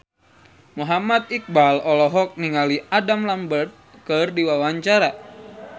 Muhammad Iqbal olohok ningali Adam Lambert keur diwawancara